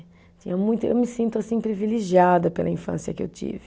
Tinha muita, eu me sinto assim privilegiada pela infância que eu tive.